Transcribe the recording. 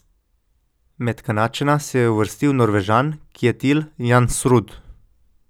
Med Kanadčana se je uvrstil Norvežan Kjetil Jansrud.